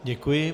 Děkuji.